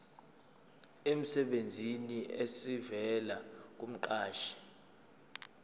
emsebenzini esivela kumqashi